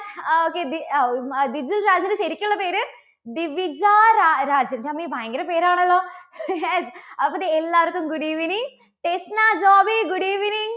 ആ okay. ദി അഹ് ഉം ദിജുൽ രാജുവിന്റെ ശരിക്കുള്ള പേര്? ദിവികാ രാജ്~രാജൻ എന്റെ ദൈവമേ ഭയങ്കര പേരാണല്ലോ. അപ്പോ ദേ എല്ലാവർക്കും good evening Tesna Joby good evening